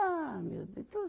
Ah, meu Deus. Então